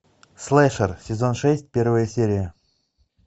слэшер сезон шесть первая серия